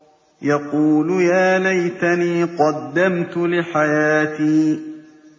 يَقُولُ يَا لَيْتَنِي قَدَّمْتُ لِحَيَاتِي